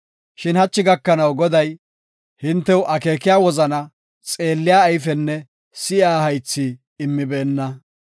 Shin hachi gakanaw Goday, hintew akeekiya wozana, xeelliya ayfenne si7iya haythi immibeenna.